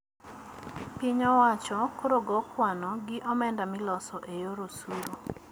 Piny owacho koro go kwano gi omenda miloso e yor osuru